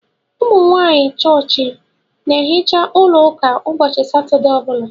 Umunwanyi chọọchị n'ehicha ụlọ ụka ụbọchị satọdee ọbula